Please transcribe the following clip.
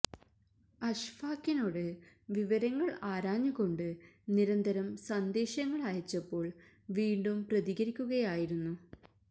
അഷ്ഫാഖിനോട് വിവരങ്ങൾ ആരാഞ്ഞ് കൊണ്ട് നിരന്തരം സന്ദേശങ്ങൾ അയച്ചപ്പോൾ വീണ്ടും പ്രതികരിക്കുകയായിരുന്നു